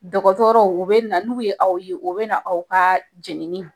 Dɔgɔtɔrɔw u bɛ na n'u ye aw ye u bɛ na aw ka jenini